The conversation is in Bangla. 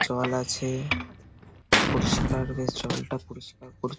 জল আছে পরিষ্কার বেশ জলটা পরিষ্কার পরি --